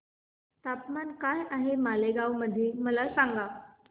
तापमान काय आहे मालेगाव मध्ये मला सांगा